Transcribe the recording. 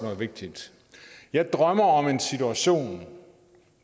vigtig jeg drømmer om en situation